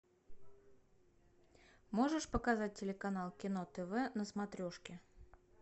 можешь показать телеканал кино тв на смотрешке